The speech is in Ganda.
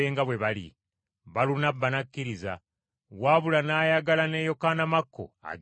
Balunabba n’akkiriza, wabula n’ayagala ne Yokaana Makko agende nabo.